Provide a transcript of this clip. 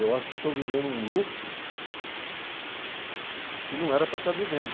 Eu acho que estou vivendo um lucro que não era para estar vivendo.